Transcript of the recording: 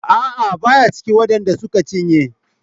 A'a baya cikin waɗan da suka cinye.